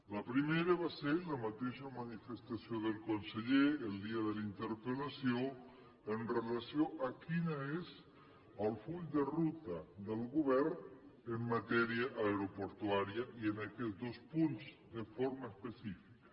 la primera va ser la mateixa manifestació del conseller el dia de la interpel·lació amb relació a quin és el full de ruta del govern en matèria aeroportuària i en aquests dos punts de forma específica